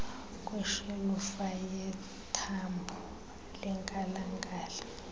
kweshelufa yethambo lenkalakahla